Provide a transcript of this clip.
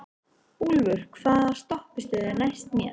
Úlfur, hvaða stoppistöð er næst mér?